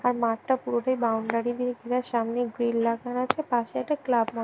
আর মাঠটা পুরোটাই বাউন্ডারি দিয়ে ঘেরা। সামনে গ্রিল লাগানো আছে পাশে একটা ক্লাব ম --